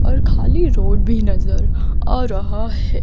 और खाली रोड भी नज़र आ रहा है।